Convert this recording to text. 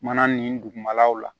Mana nin dugumalaw la